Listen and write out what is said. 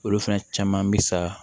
Olu fana caman mi sa